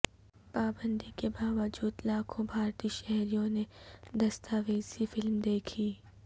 پابندی کے باوجود لاکھوں بھارتی شہریوں نے دستاویزی فلم دیکھی